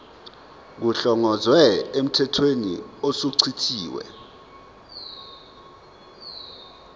kuhlongozwe emthethweni osuchithiwe